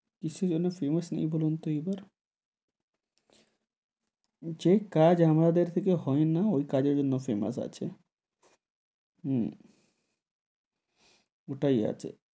কিসের জন্য famous নেই বলুন তো এই বার, যে কাজ আমাদের থেকে হয় না ওই কাজের জন্য famous আছে, হম ওটাই আছে,